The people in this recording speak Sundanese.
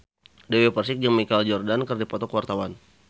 Dewi Persik jeung Michael Jordan keur dipoto ku wartawan